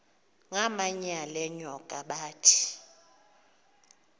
ngamanyal enyoka bathi